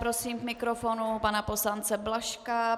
Prosím k mikrofonu pana poslance Blažka.